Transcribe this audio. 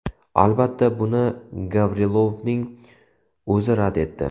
Albatta, buni Gavrilovning o‘zi rad etdi.